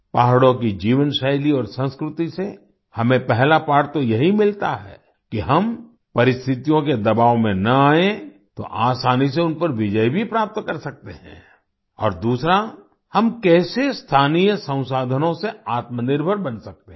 पहाड़ों की जीवनशैली और संस्कृति से हमें पहला पाठ तो यही मिलता है कि हम परिस्थितियों के दबाव में ना आएं तो आसानी से उन पर विजय भी प्राप्त कर सकते हैं और दूसरा हम कैसे स्थानीय संसाधनों से आत्मनिर्भर बन सकते हैं